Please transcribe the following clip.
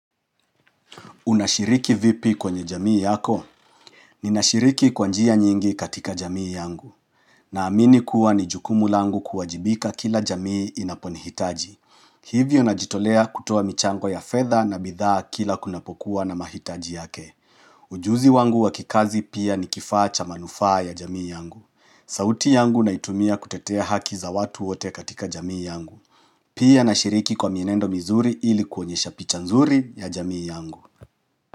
Unashiriki vipi kwenye jamii yako? Ninashiriki kwa njia nyingi katika jamii yangu. Naamini kuwa ni jukumu langu kuwajibika kila jamii inapo nihitaji. Hivyo najitolea kutoa michango ya fedha na bidhaa kila kunapokuwa na mahitaji yake. Ujuzi wangu wa kikazi pia ni kifaa cha manufaa ya jamii yangu. Sauti yangu naitumia kutetea haki za watu wote katika jamii yangu. Pia nashiriki kwa mienendo mizuri ili kuonyesha picha nzuri ya jamii yangu.